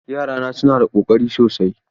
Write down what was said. Yarana suna da Ƙoƙari sosai.